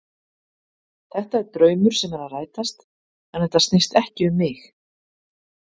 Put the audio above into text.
Þetta er draumur sem er að rætast en þetta snýst ekki um mig.